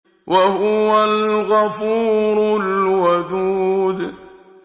وَهُوَ الْغَفُورُ الْوَدُودُ